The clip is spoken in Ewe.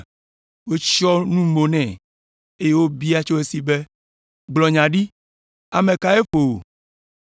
Wotsyɔ̃ nu mo nɛ, eye wobia tso esi be, “Gblɔ nya ɖi! Ame kae ƒo wò.”